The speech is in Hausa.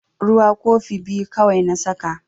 Ruwa kofi biyu kawai na saka.